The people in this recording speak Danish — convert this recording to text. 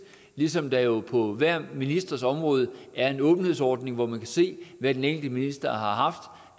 ligesom der jo på hver ministers område er en åbenhedsordning hvor man kan se hvad den enkelte minister har haft